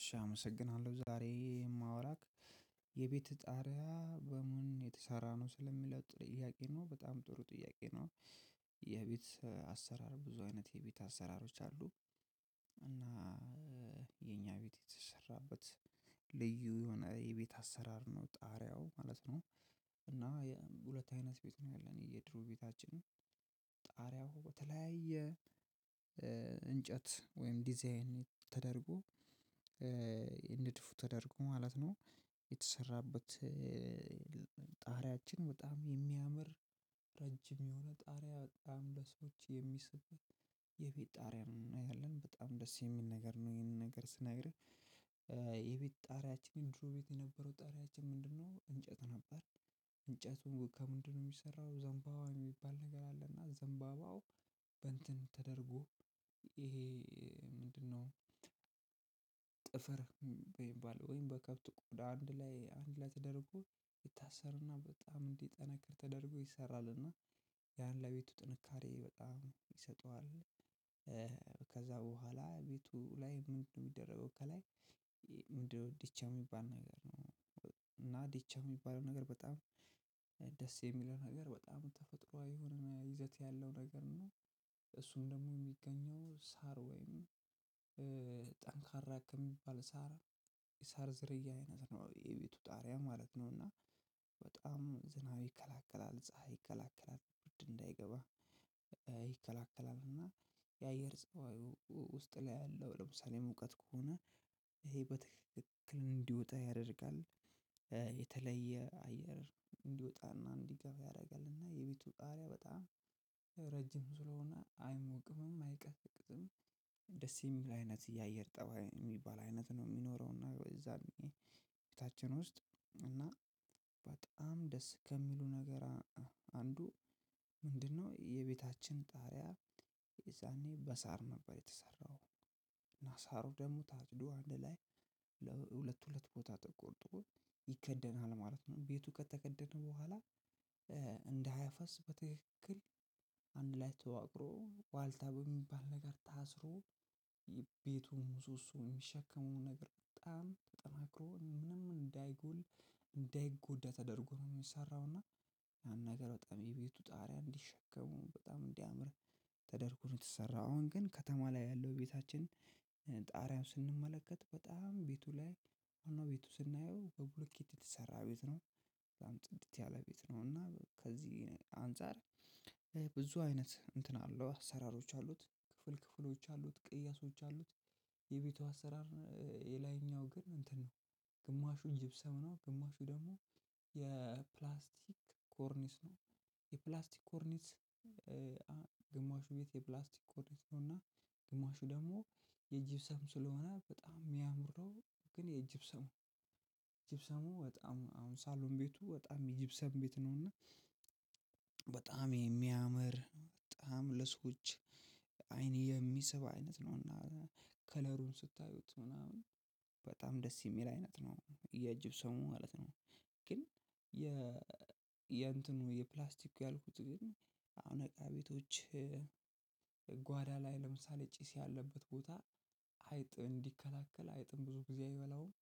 እሺ አመሰግናለሁ ዛሬ የማወራው የቤትህ ጣሪያ በምን የተሰራ ነው ስለሚለው ጥያቄ ነው በጣም ጥሩ ጥያቄ ነው። የቤት አሰራር ብዙ አይነት የቤት አሰራሮች አሉ። እና የኛ ቤት የተሰራበት ልዩ የሆነ የቤት አሰራር ነው ጣሪያው ማለት ነው። እና ሁለት አይነት ቤት ነው ያለን የድሮ ቤታችን። ጣሪያው በተለያየ እንጨት ወይም ዲዛይን ተደርጎ ንድፉ ተደርጎ ማለት ነው። የተሰራበት ጣሪያችን በጣም የሚያምር ረጅም የሆነ ጣሪያ በጣም ለሰዎች የሚስብት የቤት ጣሪያ ነው። እና ያለን በጣም ደስ የሚል ነገር ነው። ይሄንን ነገር ስነግርህ። የቤት ጣሪያችንን ድሮ ቤት የነበረው ጣሪያችን ምንድነው እንጨት ነበር። እንጨቱን ከምንድነው የሚሰራው ዘንባባ የሚባል ነገር አለና ዘንባባው በእንትን ተደርጎ ይሄ ምንድነው? ጥፍር ወይም ባለው ወይም በከብት ቆዳ አንድ ላይ አንድ ላይ ተደርጎ ይታሰርና በጣም እንዲጠናክር ተደርጎ ይሰራል። እና ያን ለቤቱ ጥንካሬ በጣም ይሰጠዋል። በኋላ ቤቱ ላይ ምንድነው የሚደረገው ከላይ። ምንድነው ዲቻ የሚባል ነገር ነው። እና ዲቻ የሚባለው ነገር በጣም ደስ የሚለው ነገር በጣም ተፈጥሮአዊ የሆነ ይዘት ያለው ነገር ነው። እሱን ደግሞ የሚገኘው ሳር ወይም ጠንካራ ከሚባል ሳር የሳር ዝርያ አይነት ነው የቤቱ ጣሪያ ማለት ነው። እና በጣም ዝናብ ይከላከላል ፀሀይ ከላከላል ብርድ እንዳይገባ ይከላከላል። እና የአየር ፀባዩ ውስጥ ላይ ያለው ለምሳሌ ሙቀት ከሆነ ይሄ በትክክል እንዲወጣ ያደርጋል። የተለየ አየር እንዲወጣና እንዲገባ ያደርጋል። እና የቤቱ ጣሪያ በጣም ረጅም ስለሆነ አይሞቅምም አይቀዘቅዝም። ደስ የሚል አይነት የአየር ጠባይ የሚባል አይነት ነው የሚኖረው። እና የዛኔ ቤታችን ውስጥ እና በጣም ደስ ከሚሉ ነገር አንዱ ምንድነው የቤታችን ጣሪያ። የዛኔ በሳር ነበር የተሰራው እና ሳሩ ደግሞ ታጭዶ አንድ ላይ ሁለት ሁለት ቦታ ተቆርጦ ይከደናል ማለት ነው። ቤቱ ከተከደነ በኋላ እንደ ሃያ ፈስ በትክክል አንድ ላይ ተዋቅሮ ዋልታ በሚባል ነገር ታስሮ የቤቱን ምሶሶ የሚሸከሙ ነገር በጣም ተጠናክሮ ምንም እንዳይጎል እንዳይጎዳ ተደርጎ ነው። የሚሰራው እና ያን ነገር በጣም የቤቱ ጣሪያ እንዲሸከመው በጣም እንዲያምር ተደርጎ ነው የተሰራው። አሁን ግን ከተማ ላይ ያለው ቤታችን ጣሪያውን ስንመለከት በጣም ቤቱ ላይ ሆኖ ቤቱ ስናየው በብሎኬት የተሰራ ቤት ነው። በጣም ጽድት ያለ ቤት ነው እና ከዚህ አንፃር ብዙ አይነት እንትን አለው አሰራሮች አሉት። ክፍል ክፍሎች አሉት ቅያሶች አሉት። የቤቱ አሰራር የላይኛው ግን እንትን ነው። ግማሹ ጅብሰም ነው ግማሹ ደግሞ የፕላስቲክ ኮርኒስ ነው። የፕላስቲክ ኮርኒስ ግማሹ ቤት የፕላስቲክ ኮርኒስ ነው። እና ግማሹ ደግሞ የጅብሰም ስለሆነ በጣም የሚያምር ነው። ግን የጅብሰሙ ጅብሰሙ በጣም አሁን ሳሎን ቤቱ በጣም ጅብሰም ቤት ነው እና በጣም የሚያምር በጣም ለሰዎች አይን የሚስብ አይነት ነው። እና ከለሩን ስታዩት ምናምን በጣም ደስ የሚል አይነት ነው። የጅብሰሙ ማለት ነው። ግን የእንትኑ የፕላስቲክ ያልኩት ግን አሁን እቃ ቤቶች ጓዳ ላይ ለምሳሌ ጭስ ያለበት ቦታ አይጥ እንዲከላከል አይጥም ብዙ ጊዜ አይበላውም።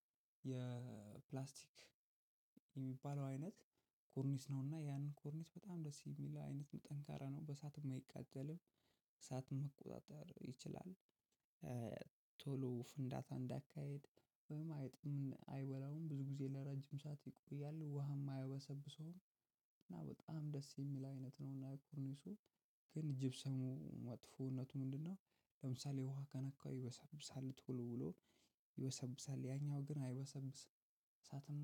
የፕላስቲክ የሚባለው አይነት ኮርኒስ ነውና ያንን ኮርኒስ በጣም ደስ የሚል አይነት ነው። ጠንካራ ነው በእሳትም አይቃጠልም እሳትም መቆጣጠር ይችላል። ቶሎ ፍንዳታ እንዳይካሄድ ወይም አይጥም አይበላውም ብዙ ጊዜ ለረጅም ሰዓት ይቆያል። ውሃም አያበሰብሰውም እና በጣም ደስ የሚል አይነት ነው። እና ኮርኒሱ ግን ጅብሰሙ መጥፎነቱ ምንድነው? ለምሳሌ ውሃ ከነካው ይበሰብሳል ተወልውሎ ይበሰብሳል። ያኛው ግን አይበሰብስም እሳትም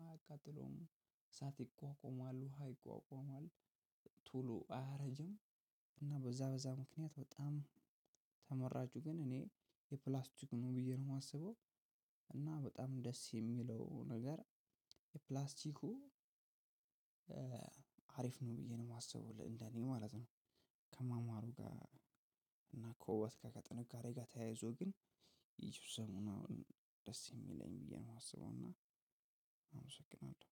አያቃጥለውም እሳት ይቋቋማል ውሃ ይቋቋማል። ቶሎ አያረጅም። እና በዛ በዛ ምክንያት በጣም ተመራጩ ግን እኔ የፕላስኩ ነው ብዬ ነው የማስበው። እና በጣም ደስ የሚለው ነገር የፕላስቲኩ አሪፍ ነው ብዬ ነው የማስበው እንደኔ ማለት ነው። ከማማሩ ጋር እና ከውበት ጋር ከጥንካሬ ጋር ተያይዞ ግን የጂብሰሙ ነው። ደስ የሚለኝ ብዬ ነው የማስበው። እና አመሰግናለሁ።